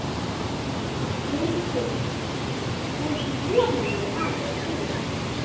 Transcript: VILHJÁLMUR: Þú ert voðalegur maður að spyrja svona.